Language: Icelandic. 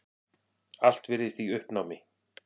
Allt virðist í uppnámi.